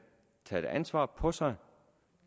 taget ansvaret på sig